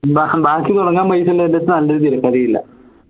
ബാക്കി തുടങ്ങാൻ പൈസള്ളന്റടുത്ത് നല്ലൊരു തിരക്കഥയും ഇല്ല